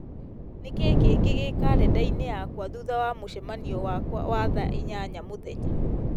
nĩkĩĩ kĩngĩ gĩ karenda-inĩ yakwa thutha wa mũcemanio wakwa wa thaa inyanya mũthenya